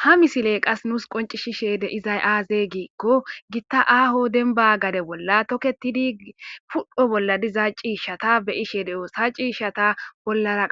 Ha misiley qase nuusi qoncisishe de'izay aaze gikon Gita aaho demba gade bolla toketidi pudho bolla diza ciishata be'ashe de'osi. Ha ciishata bollara